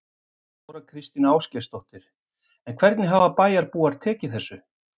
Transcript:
Þóra Kristín Ásgeirsdóttir: En hvernig hafa bæjarbúar tekið þessu?